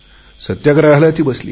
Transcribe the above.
सत्याग्रहाला ती बसली